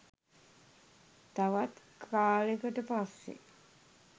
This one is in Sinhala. තවත් කාලෙකට පස්සෙ